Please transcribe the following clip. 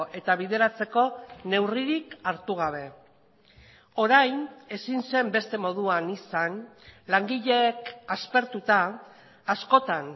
eta bideratzeko neurririk hartu gabe orain ezin zen beste moduan izan langileek aspertuta askotan